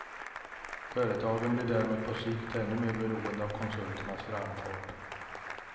Företagen blir därmed på sikt ännu mer beroende av konsulternas framfart.